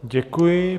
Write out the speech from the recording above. Děkuji.